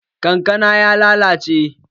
Kankanan ya lalace